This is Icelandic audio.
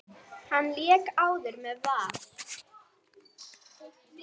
Hann lék áður með Val.